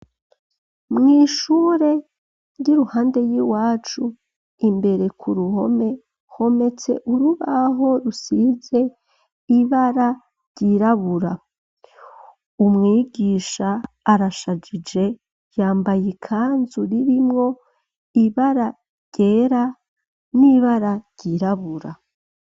Mw'ishure ry'iruhande y'iwacu imbere kuruhome hometse urubaho rusize ibara ryirabura, umwigisha arashajije , yambay'ikanzu ririmwo ibara ryera n'ibara ryirabura.